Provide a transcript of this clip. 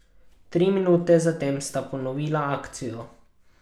Tri minute zatem sta ponovila akcijo.